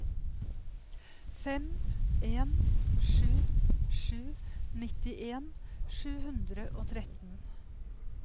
fem en sju sju nittien sju hundre og tretten